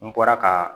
N bɔra ka